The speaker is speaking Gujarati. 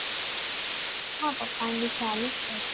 મારા પપ્પા ને તો સારું જ છે